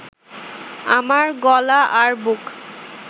আমার গলা আর বুক